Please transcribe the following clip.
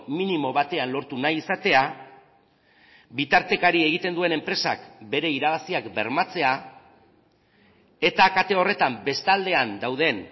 minimo batean lortu nahi izatea bitartekari egiten duen enpresak bere irabaziak bermatzea eta kate horretan bestaldean dauden